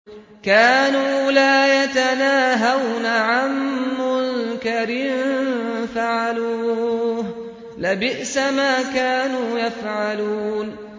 كَانُوا لَا يَتَنَاهَوْنَ عَن مُّنكَرٍ فَعَلُوهُ ۚ لَبِئْسَ مَا كَانُوا يَفْعَلُونَ